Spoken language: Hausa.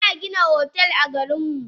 Ina Gina otel a garinmu.